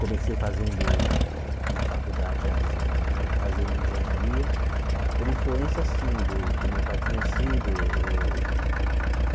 Comecei fazendo na faculdade, já dizendo né, fazendo engenharia por influência, assim, do que o meu pai tinha sido. Eu